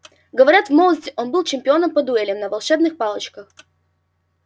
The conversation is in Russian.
говорят в молодости он был чемпионом по дуэлям на волшебных палочках